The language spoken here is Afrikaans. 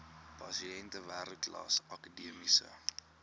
pasiënte wêreldklas akademiese